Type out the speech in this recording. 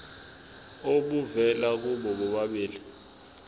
obuvela kubo bobabili